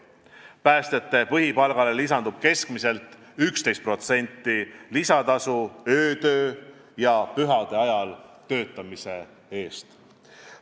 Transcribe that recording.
Päästjate põhipalgale lisandub keskmiselt 11% lisatasu öötöö ja pühade ajal töötamise eest.